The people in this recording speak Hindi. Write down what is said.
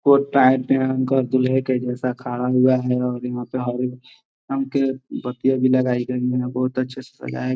कोट टाई पहनकर दूल्हे के जैसे खड़ा हुआ है और यहाँ पे हॉल पर पत्तियाँ भी लगाई गई है बहुत अच्छा सजाया --